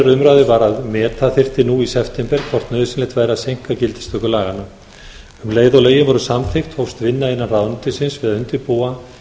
var að meta þyrfti nú í september hvort nauðsynlegt væri að seinka gildistöku laganna um leið og lögin voru samþykkt hófst vinna innan ráðuneytisins við að undirbúa